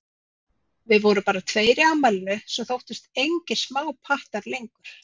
Við vorum bara tveir í afmælinu, sem þóttust engir smápattar lengur.